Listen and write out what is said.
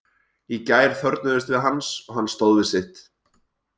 Í gær þörfnuðumst við hans og hann stóð við sitt.